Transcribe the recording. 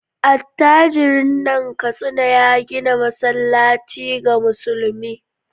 Attajirin nan Katsina ya gina masallaci ga musulmi.